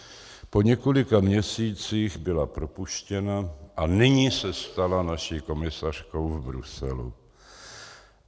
Po několika měsících byla propuštěna a nyní se stala naší komisařkou v Bruselu.